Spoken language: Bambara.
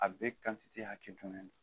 A be hakɛ bugun.